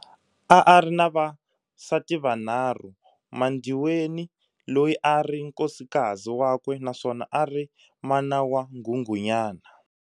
A ari na vasati vanharhu, MaNdiweni loyi a a ri nkosikazi wakwe naswona ari mana wa Nghunghunyana.